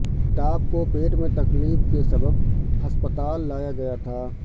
امیتابھ کو پیٹ میں تکلیف کے سبب ہسپتال لایا گیا تھا